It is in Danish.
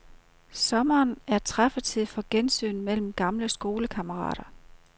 Sommeren er træffetid for gensyn mellem gamle skolekammerater.